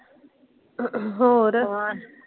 ਹੋਰ।